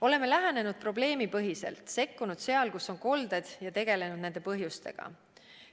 Oleme lähenenud probleemipõhiselt, sekkunud seal, kus on kolded, ja tegelenud nende põhjustega.